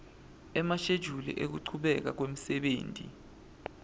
emashejuli ekuchubeka kwemsebenti